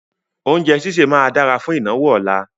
Oúnjẹ sísẹ̀ máa dára fún ìnáwó ọ̀la.